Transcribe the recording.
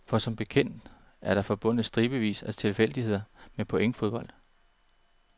For som bekendt er der forbundet stribevis af tilfældigheder med pointfodbold.